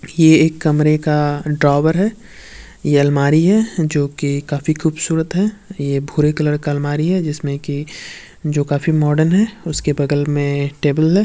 ये एक कमरे का ड्रॉवर है। यह अलमारी है जोकि काफी खूबसूरत है। ये भूरे कलर का अलमारी है। जिसमें की जो काफी मॉडर्न है। उसके बगल में टेबल है।